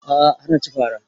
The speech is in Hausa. A'a har na ci fara